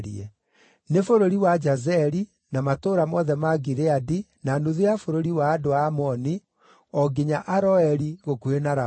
Nĩ bũrũri wa Jazeri, na matũũra mothe ma Gileadi, na nuthu ya bũrũri wa andũ a Amoni o nginya Aroeri, gũkuhĩ na Raba;